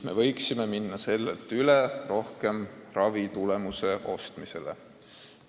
Me võiksime sellelt üle minna rohkem ravitulemuse ostmisele.